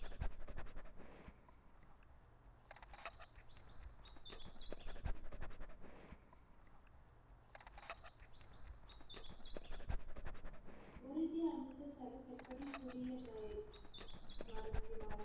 குருஜி அமிர்தசரஸ் எப்படி புதிய மரத்தினால்